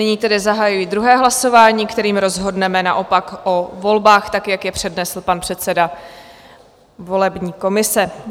Nyní tedy zahajuji druhé hlasování, kterým rozhodneme naopak o volbách tak, jak je přednesl pan předseda volební komise.